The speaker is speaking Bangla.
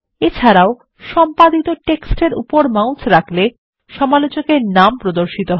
এছাড়াও সম্পাদিত টেক্সট এর উপরে মাউস রাখলে সমালোচক এর নাম প্রদর্শিত হয়